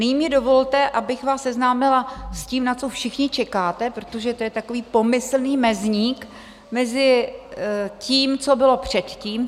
Nyní mi dovolte, abych vás seznámila s tím, na co všichni čekáte, protože to je takový pomyslný mezník mezi tím, co bylo předtím.